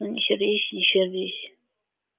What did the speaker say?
ну не сердись не сердись